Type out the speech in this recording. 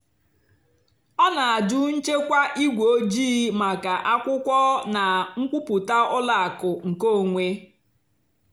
ọ́ nà-àjụ́ nchèkwà ígwè ójìì màkà ákwụ́kwọ́ nà nkwúpụ́tá ùlọ àkụ́ nkèónwé.